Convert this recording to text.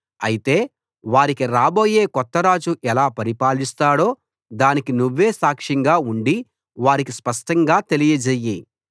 అయితే వారికి రాబోయే కొత్త రాజు ఎలా పరిపాలిస్తాడో దానికి నువ్వే సాక్ష్యంగా ఉండి వారికి స్పష్టంగా తెలియజెయ్యి